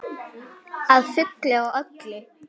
Að fullu og öllu.